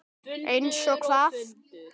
Eins og hvað?